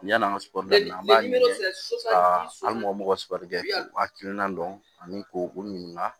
Yan'an ka sɔrɔrisan an b'a ɲini hali mɔgɔ mɔgɔ sipɛrɛ u hakilina dɔn ani k'u ɲininka